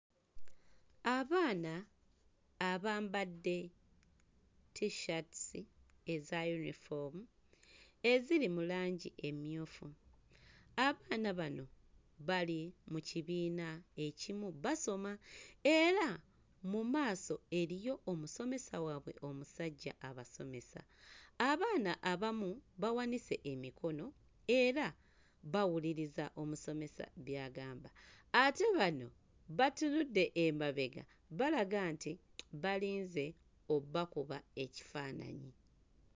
Abaana abambadde Tshirts eza yunifoomu eziri mu langi emmyufu, abaana bano bali mu kibiina ekimu basoma era mu maaso eriyo omusomesa waabwe omusajja abasomesa, abaana abamu bawanise emikono era bawuliriza omusomesa by'agamba ate bano batunude emabega balaga nti balinze obbakuba ekifaananyi.